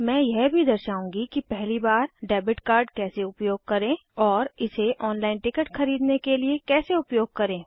मैं यह भी दर्शाऊंगी कि पहली बार डेबिट कार्ड कैसे उपयोग करें और इसे ऑनलाइन टिकट खरीदने के लिए कैसे उपयोग करें